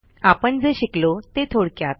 आपण जे शिकलो ते थोडक्यात